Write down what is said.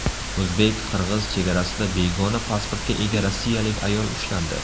O‘zbek-qirg‘iz chegarasida begona pasportga ega rossiyalik ayol ushlandi.